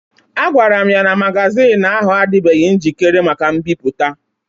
A gwara m ya n'magazin ahụ adịbeghi njikere maka mbipụta